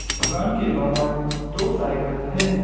दुकान के बाहर दो साइकिल है।